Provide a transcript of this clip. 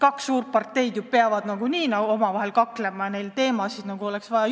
Kaks suurt parteid peavad ju omavahel kaklema ja neil oleks selleks teemasid juurde vaja.